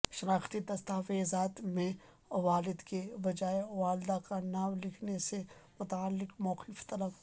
شناختی دستاویزات میں والد کے بجائے والدہ کا نام لکھنے سے متعلق موقف طلب